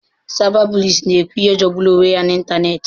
Cyberbullies na-ekwu ihe jọgburu onwe ya n'ịntanetị.